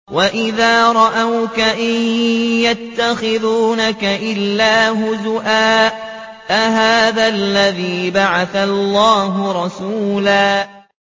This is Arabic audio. وَإِذَا رَأَوْكَ إِن يَتَّخِذُونَكَ إِلَّا هُزُوًا أَهَٰذَا الَّذِي بَعَثَ اللَّهُ رَسُولًا